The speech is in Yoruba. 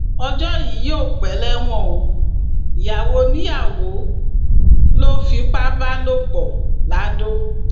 ọjọ yìí yóò pẹ lẹwọn o ìyàwó oníyàwó ló fipá bá lò pọ laodò